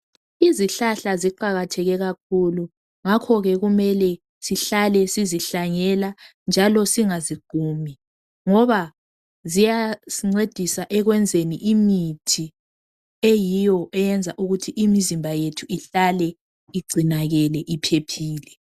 Izihlahla ziqakatheke kakhulu ngakhoke kumele sihlale sizihlanyela njalo singaziqumi ngoba ziyazincedisa ekwenzeni imithi eyiyo eyenza ukuthi imizimba yethu ihlale igcinakele iphephile.